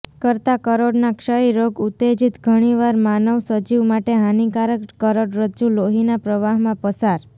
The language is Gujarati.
કરતાં કરોડના ક્ષય રોગ ઉત્તેજિત ઘણીવાર માનવ સજીવ માટે હાનિકારક કરોડરજ્જુ લોહીના પ્રવાહમાં પસાર